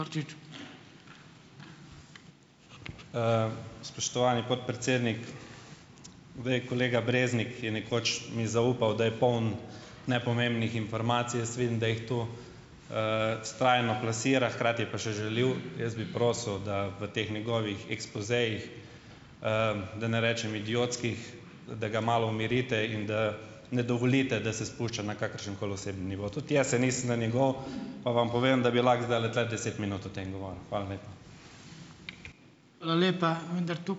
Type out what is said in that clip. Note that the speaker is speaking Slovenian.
Spoštovani podpredsednik. kolega Breznik je nekoč mi zaupal, da je poln nepomembnih informacij, jaz vidim, da jih tu, vztrajno plasira, hkrati pa je še žaljiv. Jaz bi prosil, da v teh njegovih ekspozejih, da ne rečem idiotskih, da ga malo umirite in da ne dovolite, da se spušča na kakršenkoli osebni nivo. Tudi jaz se nisem na njegov, pa vam povem, da bi lahko zdajle tule deset minut o tem govoril. Hvala lepa.